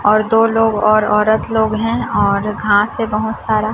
और दो लोग और औरत लोग हैं और घांस है बहुत सारा।